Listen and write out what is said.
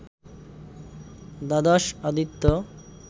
দ্বাদশ আদিত্য,